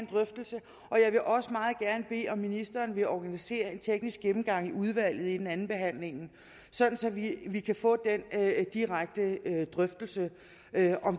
drøftelse og jeg vil også meget gerne bede ministeren om at organisere en teknisk gennemgang i udvalget inden andenbehandlingen sådan sådan at vi kan få den direkte drøftelse af